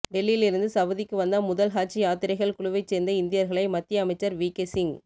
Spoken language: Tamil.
டெல்லியில் இருந்து சவுதிக்கு வந்த முதல் ஹஜ் யாத்திரைகள் குழுவைச் சேர்ந்த இந்தியர்களை மத்திய அமைச்சர் விகே சிங்